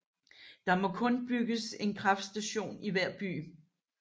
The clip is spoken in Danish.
Der må kun bygges en kraftstation i hver by